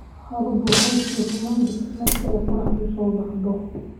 "Xaaladu waxay sii xumaan jirtay marka qoraxdu soo baxdo."